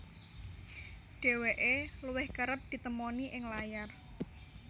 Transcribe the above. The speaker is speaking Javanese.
Dheweke luwih kereb ditemoni ing layar